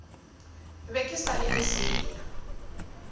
be ke sa le lesea